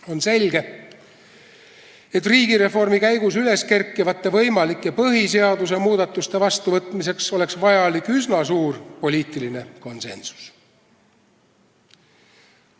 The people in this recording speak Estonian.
On selge, et riigireformi käigus üles kerkivate põhiseaduse võimalike muudatuste vastuvõtmiseks oleks vaja üsna suurt poliitilist konsensust.